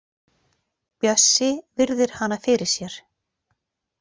Bjössi virðir hana fyrir sér.